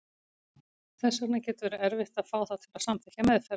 Þess vegna getur verið erfitt að fá þá til að samþykkja meðferð.